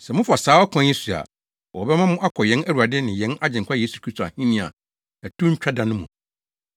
Sɛ mofa saa ɔkwan yi so a, wɔbɛma mo akɔ yɛn Awurade ne yɛn Agyenkwa Yesu Kristo Ahenni a ɛto ntwa da no mu.